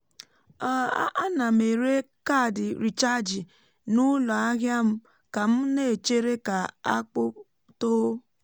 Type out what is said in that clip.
um a na m ere kaadị rechaaji n'ụlọ ahịa m ka m na-echere ka akpụ tóó